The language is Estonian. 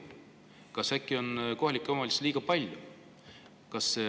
Kas äkki on kohalikke omavalitsusi liiga palju?